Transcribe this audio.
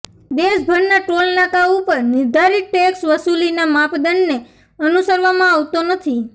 દેશભરના ટોલનાકા ઉપર નિર્ધારીત ટેકસ વસૂલીના માપદંડને અનુસરવામાં આવતો નથી